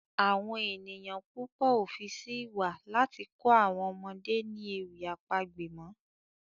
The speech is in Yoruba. Awọn ènìyàn púpọ o fí sí ìwà láti kọ àwọn ọmọdé ni ewì àpagbè mọ.